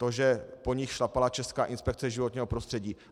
To, že po nich šlapala Česká inspekce životního prostředí.